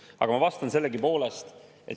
Aga ma vastan sellegipoolest.